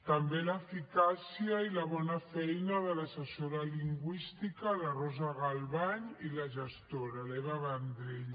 també l’eficàcia i la bona feina de l’assessora lingüística la rosa galvany i la gestora l’eva vendrell